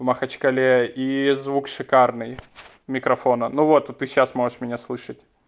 махачкале и звук шикарный микрофона ну вот вот ты сейчас можешь меня слышать